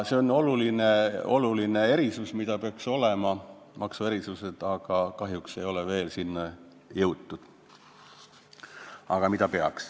See on oluline maksuerand, mis peaks olema, aga kahjuks ei ole veel selleni jõutud.